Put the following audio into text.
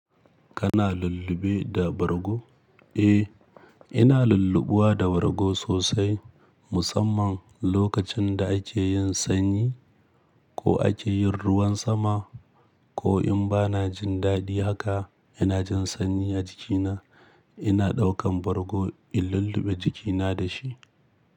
Kana lulluɓe da bargo? Eh, ina lulluɓuwa da bargo sosai musamman lokacin da ake yin sanyi ko ake yin ruwan sama ko in ba na jin daɗi haka ina jin sanyi a jikina ina ɗaukan bargo in lulluɓe jikina da shi.